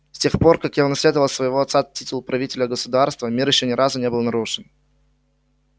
с тех пор как я унаследовал от своего отца титул правителя государства мир ещё ни разу не был нарушен